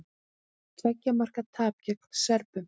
Tveggja marka tap gegn Serbum